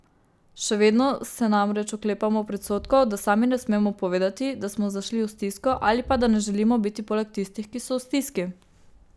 Še vedno se namreč oklepamo predsodkov, da sami ne smemo povedati, da smo zašli v stisko, ali pa, da ne želimo biti poleg tistih, ki so v stiski.